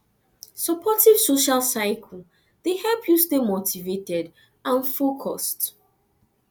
supportive social circle dey help you stay motivated and focused